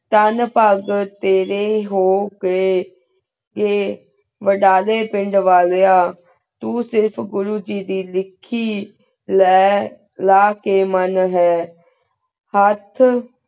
ਤਾਂ ਪਗਹ ਤੇਰੀ ਹੂ ਗੀ ਆਯ ਵੇਦਾ ਡੀ ਪੇੰਡ ਵਾਲਿਯਾਤੂੰ ਸਿਰਫ ਘੁਰੁ ਜੀ ਦੀ ਲਿਖੀ ਲੀ ਲਕੀ ਵੇੰਡ ਹੈਂ ਹੇਠ